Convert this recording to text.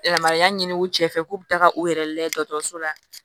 Yamaruya ɲini u cɛ fɛ k'u bɛ taga u yɛrɛ lajɛ dɔgɔtɔrɔso la